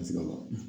Ka se ka bɔ